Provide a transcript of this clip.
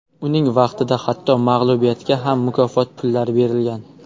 Uning vaqtida hatto mag‘lubiyatga ham mukofot pullari berilgan.